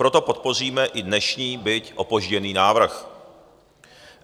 Proto podpoříme i dnešní, byť opožděný návrh.